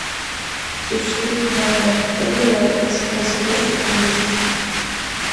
существует ли в данном отеле экспресс въезд или выезд